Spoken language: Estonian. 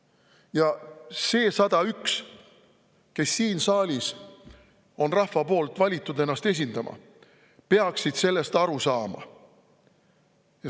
Ja need 101 siin saalis, keda rahvas on valinud ennast esindama, peaksid sellest aru saama.